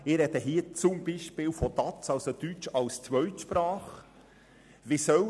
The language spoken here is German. Ich spreche zum Beispiel von Deutsch als Zweitsprache (DaZ).